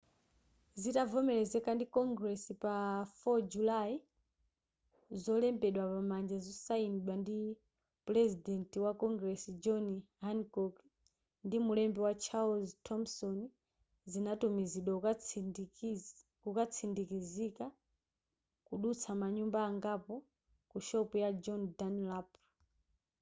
zitavomelezeka ndi congress pa 4 julayi zolembedwa pamanja zosayinidwa ndi purezidenti wa congress john hancock ndi mulembi charles thomson zinatumizidwa kukatsindikizika kudutsa manyumba angapo ku shopu ya john dunlap